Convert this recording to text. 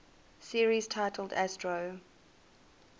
series titled astro